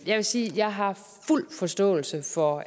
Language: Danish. jeg vil sige at jeg har fuld forståelse for